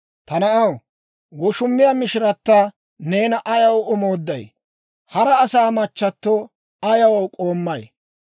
Ta na'aw, woshumiyaa mishirata neena ayaw omoodday? Hara asaa machchato ayaw k'oommay?